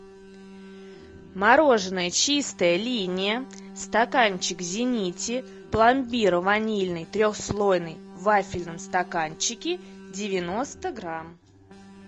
мороженое чистая линия стаканчик в зените пломбир ванильный трехслойный в вафельном стаканчике девяносто грамм